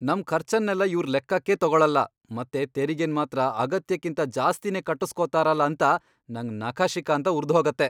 ನಮ್ ಖರ್ಚನ್ನೆಲ್ಲ ಇವ್ರ್ ಲೆಕ್ಕಕ್ಕೇ ತಗೊಳಲ್ಲ ಮತ್ತೆ ತೆರಿಗೆನ್ ಮಾತ್ರ ಅಗತ್ಯಕ್ಕಿಂತ ಜಾಸ್ತಿನೇ ಕಟ್ಟುಸ್ಕೊತಾರಲ ಅಂತ ನಂಗ್ ನಖಶಿಖಾಂತ ಉರ್ದ್ಹೋಗತ್ತೆ.